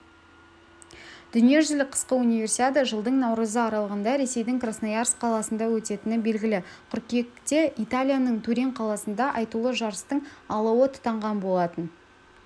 дүниежүзілік қысқы универсиада жылдың наурызы аралығында ресейдің красноярск қаласында өтетіні белгілі қыркүйекте италияның турин қаласында айтулы жарыстың алауы тұтанған болатын